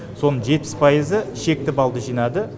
соның жетпіс пайызы шекті баллды жинады